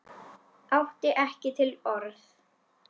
Átti ekki til orð.